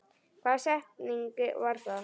Hvaða setning var það?